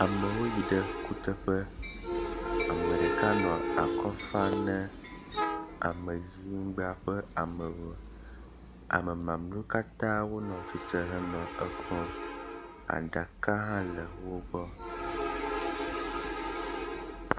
Amwo yi ɖe kuteƒe. ame ɖeka nɔ akɔ fam ne ameyinugbea ƒe amewo. Ame mamleawo katã wonɔ tsitre henɔ ekpɔm. Aɖaka hã le wo gbɔ.